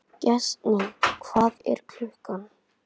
Gestný, hvað er klukkan?